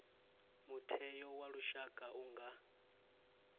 mutheo wa lushaka u nga